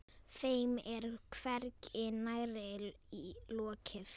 Þeim er hvergi nærri lokið.